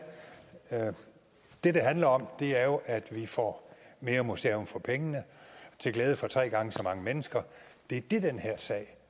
det det handler om er jo at vi får mere museum for pengene til glæde for tre gange så mange mennesker det er det den her sag